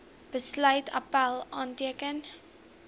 besluit appèl aanteken